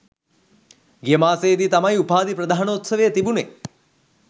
ගිය මාසයේ දී තමයි උපාධි ප්‍රධානෝත්සවය තිබුණේ.